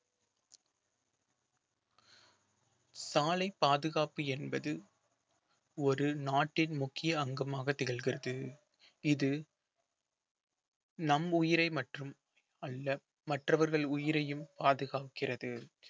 சாலை பாதுகாப்பு என்பது ஒரு நாட்டின் முக்கிய அங்கமாக திகழ்கிறது இது நம் உயிரை மட்டும் அல்ல மற்றவர்கள் உயிரையும் பாதுகாக்கிறது